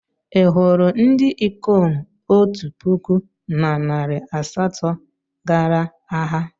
Ị hụrụ ndị ikom otu puku na narị asatọ gara agha?